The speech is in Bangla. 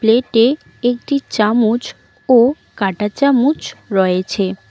প্লেটে -এ একটি চামুচ ও কাঁটা চামুচ রয়েছে।